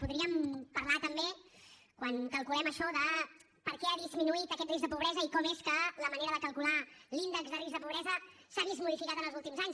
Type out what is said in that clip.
podríem parlar també quan calculem això de per què ha disminuït aquest risc de pobresa i com és que la manera de calcular l’índex de risc de pobresa s’ha vist modificat en els últims anys